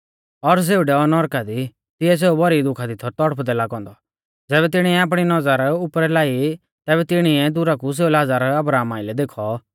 और सेऊ डैऔ नौरका दी तिऐ सेऊ भौरी दुखा दी थौ तौड़पदै लागौ औन्दौ ज़ैबै तिणीऐ आपणी नौज़र उपरै लाई तैबै तिणीऐ दुरा कु सेऊ लाज़र अब्राहमा आइलै देखौ